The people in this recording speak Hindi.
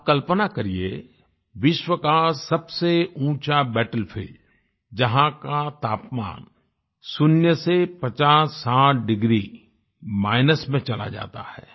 आप कल्पना करिये विश्व का सबसे ऊँचा बैटलफील्ड जहाँ का तापमान शून्य से 5060 डिग्री माइनस में चला जाता है